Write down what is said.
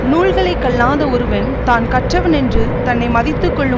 நூல்களை கல்லாத ஒருவன் தான் கற்றவனொன்று தன்னை மதித்து கொள்ளும்